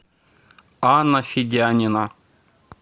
анна федянина